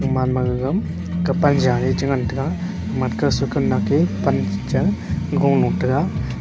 man ma gagam gapan ja ley che ngan taiga pan cha golo tega.